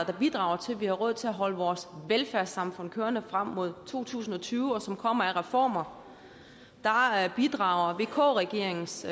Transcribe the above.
bidrager til at vi har råd til at holde vores velfærdssamfund kørende frem mod to tusind og tyve og som kommer af reformer bidrager vk regeringens